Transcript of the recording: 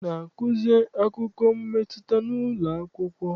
A na-azụki akụkọ mmetụta n'ụlọ akwụkwọ?